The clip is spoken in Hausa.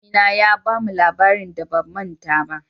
Malami na ya ba mu labarin da ba manta ba.